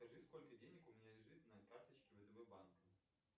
скажи сколько денег у меня лежит на карточке втб банка